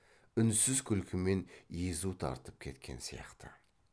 үнсіз күлкімен езу тартып кеткен сияқты